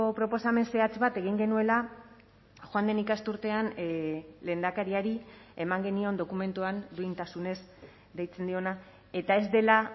proposamen zehatz bat egin genuela joan den ikasturtean lehendakariari eman genion dokumentuan duintasunez deitzen diona eta ez dela